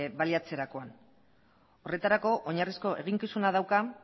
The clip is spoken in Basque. baliatzerakoan horretarako oinarrizko eginkizuna dauka